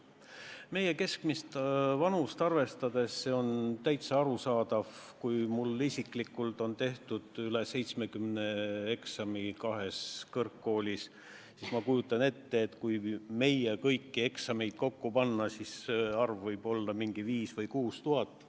Meie keskmist vanust arvestades on täitsa arusaadav, kui mul isiklikult on tehtud kahes kõrgkoolis üle 70 eksami, siis ma kujutan ette, et kui meie kõigi eksamid kokku panna, siis see arv võib olla mingi 5000 või 6000.